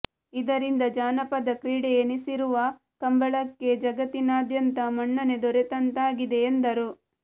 ಇದರಿಂದ ಜಾನಪದ ಕ್ರೀಡೆ ಎನಿಸಿರುವ ಕಂಬಳಕ್ಕೆ ಜಗತ್ತಿನಾದ್ಯಂತ ಮನ್ನಣೆ ದೊರೆತಂತಾಗಿದೆ ಎಂದರು